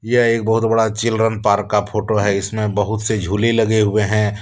यह एक बहुत बड़ा चिल्ड्रन पार्क का फोटो है। इसमें बहुत से झूले लगे हुए हैं।